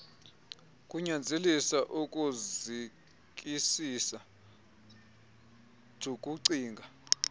kunyanzelisa ukuzikisisa jukucinga